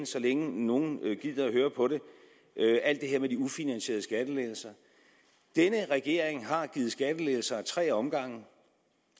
så længe nogle gider at høre på det alt det her med de ufinansierede skattelettelser denne regering har givet skattelettelser i tre omgange